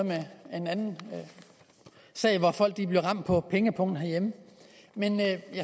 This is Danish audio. en anden sag hvor folk blev ramt på pengepungen herhjemme men jeg